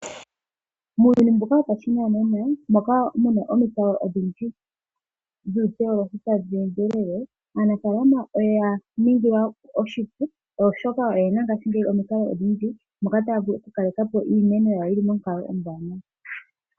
Muuyuni mbuka wopashinanena moka mu na omikalo odhindji dhuuteolohi tadhi endelele aanafaalama oya ningilwa oshipu oshoka oye na ngashingeyi omikalo odhindji moka taya vulu oku kaleka po iimeno yawo yili monkalo ombwaanawa.